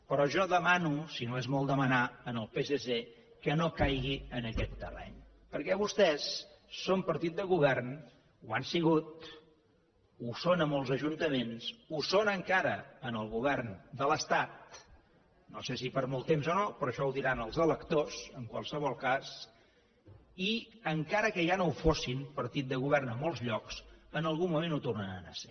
però jo demano si no és molt demanar al psc que no caigui en aquest terreny perquè vostès són partit de govern ho han sigut ho són a molts ajuntaments ho són encara en el govern de l’estat no sé si per molt temps o no però això ho diran els electors en qualsevol cas i encara que ja no ho fossin partit de govern en molts llocs en algun moment ho tornaran a ser